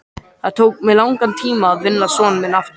Það tók mig langan tíma að vinna son minn aftur.